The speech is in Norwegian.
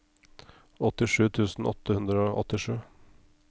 åttisju tusen åtte hundre og åttisju